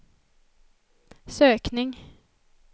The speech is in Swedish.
sökning